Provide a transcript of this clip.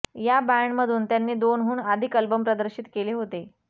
या बँडमधून त्यांनी दोनहून अधिक अल्बम प्रदर्शित केले होते